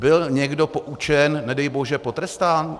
Byl někdo poučen, nedej bože potrestán?